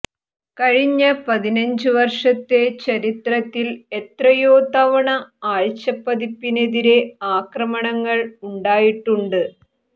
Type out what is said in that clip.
കഴിഞ്ഞ പതിനഞ്ച് വർഷത്തെ ചരിത്രത്തിൽ എത്രയോ തവണ ആഴ്ചപ്പതിപ്പിനെതിരെ ആക്രമണങ്ങൾ ഉണ്ടായിട്ടുണ്ട്